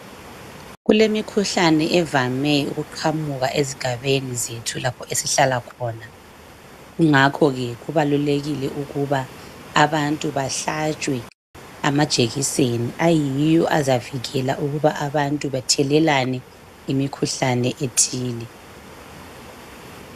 Kulemikhlane evame ukuqhamuka ezigabeni zethu lapho esihlala khona kungakho ke kubalulekile ukuba abantu bahlatshwe amajekiseni ayiwo azavikela ukuba abantu bathelelane imikhuhlane ethile